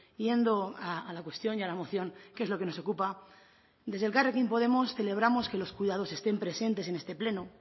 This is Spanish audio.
yendo a la cuestión y a la moción que es lo que nos ocupa desde elkarrekin podemos celebramos que los cuidados están presentes en este pleno